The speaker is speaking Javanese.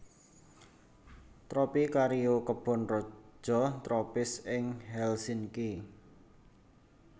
Tropicario kebon raja tropis di Helsinki